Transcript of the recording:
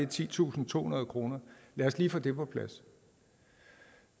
titusinde og tohundrede kroner lad os lige få det på plads